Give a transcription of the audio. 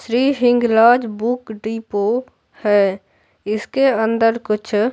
Shri Hinglaj book depot है इसके अंदर कुछ--